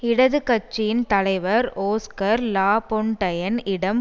இடது கட்சியின் தலைவர் ஓஸ்கர் லாபொன்டையன் இடம்